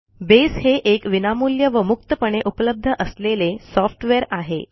base हे एक विनामूल्य व मुक्तपणे उपलब्ध असलेले सॉफ्टवेअर आहे